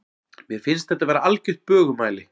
Mér finnst þetta vera algert bögumæli.